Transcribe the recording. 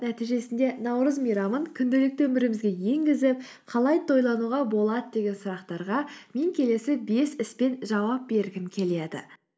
нәтижесінде наурыз мейрамын күнделікті өмірімізге енгізіп қалай тойлануға болады деген сұрақтарға мен келесі бес іспен жауап бергім келеді